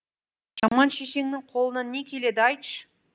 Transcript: жаман шешеңнің қолынан не келеді айтшы